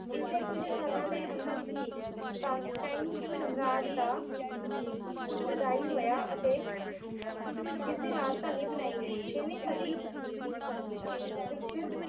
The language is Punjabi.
ਇਸਦੇ ਕੁੱਝ ਸਾਲਾਂ ਦੇ ਅੰਦਰ ਹੀ ਕਾਂਸਟੇਂਟਾਈਨ ਸਾਮਰਾਜ ਦਾ ਜੁਦਾਈ ਹੋਇਆ ਅਤੇ ਇਸਦੀ ਰਾਜਧਨੀ ਬਣਾਈ ਗਈ। ਛੇਵੀਂ ਸਦੀ ਵਿੱਚ